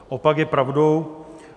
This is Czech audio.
Opak je pravdou.